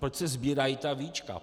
Proč se sbírají ta víčka?